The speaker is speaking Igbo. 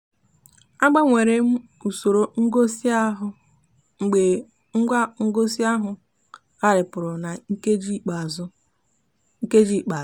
a gbanwere m usoro ngosi ahụ mgbe ngwa ngosi ahụ gharipụrụ na nkeji ikpeazụ. nkeji ikpeazụ.